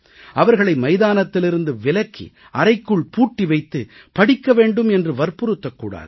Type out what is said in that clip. அவர்களை மைதானத்திலிருந்து விலக்கி அறைக்குள் பூட்டி வைத்து படிக்க வேண்டும் என்று வற்புறுத்தக் கூடாது